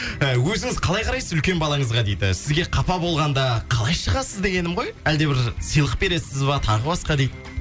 і өзіңіз қалай қарайсыз үлкен балаңызға дейді сізге қапа болғанда қалай шығасыз дегенім ғой әлде бір сыйлық бересіз ба тағы басқа дейді